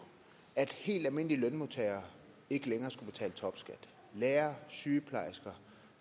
at helt almindelige lønmodtagere ikke længere skulle betale topskat lærere sygeplejersker